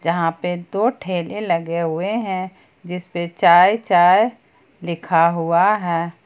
यहां पे दो ठेले लगे हुए हैं जिसपे चाय चाय लिखा हुआ हैं।